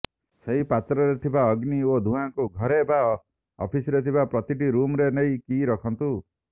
ସେହି ପାତ୍ରରେ ଥିବା ଅଗ୍ନି ଓ ଧୂଆଁକୁ ଘରେ ବା ଅଫିସରେଥିବା ପ୍ରତିଟି ରୁମ୍ରେ ନେଇ କି ରଖନ୍ତୁ